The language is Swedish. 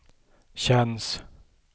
känns